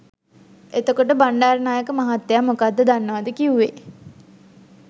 එතකොට බණ්ඩාරනායක මහත්තය මොකද්ද දන්නවද කිවුවේ?